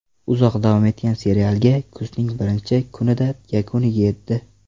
Uzoq davom etgan serialga kuzning birinchi kunida yakuniga yetdi.